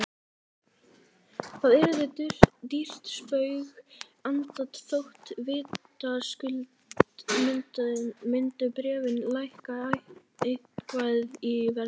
Það yrði dýrt spaug, enda þótt vitaskuld myndu bréfin lækka eitthvað í verði.